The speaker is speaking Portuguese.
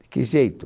De que jeito?